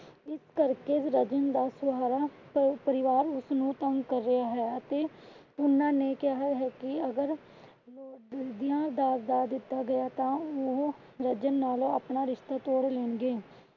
ਇਸ ਕਰ ਕੇ ਰੱਜਣ ਦਾ ਸਾਰਾ ਪਰਿਵਾਰ ਉਸਨੂੰ ਤੰਗ ਕਰ ਰਿਹਾ ਹੈ ਅਤੇ ਉਹਨਾਂ ਨੇ ਕਿਹਾ ਹੈ ਕਿ ਅਗਰ . ਦਾਜ ਨਾ ਦਿੱਤਾ ਗਿਆ ਤਾਂ ਉਹ ਰੱਜਣ ਨਾਲੋਂ ਅਪਣਾ ਰਿਸ਼ਤਾ ਤੋੜ ਲੈਣਗੇ।